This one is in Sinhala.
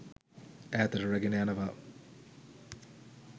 ඈතට රැගෙන යනවා.